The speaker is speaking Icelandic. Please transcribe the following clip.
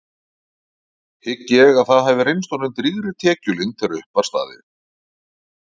Hygg ég að það hafi reynst honum drýgri tekjulind þegar upp var staðið.